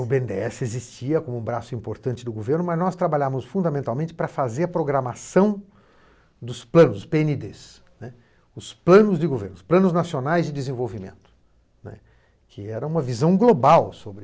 O bê ene dê esse existia como um braço importante do governo, mas nós trabalhávamos fundamentalmente para fazer a programação dos planos, pê ene dê ê sê, né, os planos de governo, os planos nacionais de desenvolvimento, né, que era uma visão global sobre